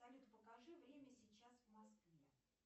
салют покажи время сейчас в москве